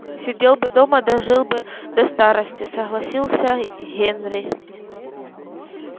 сидел бы дома дожил бы до старости согласился генри